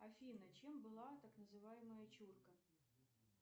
афина чем была так называемая чурка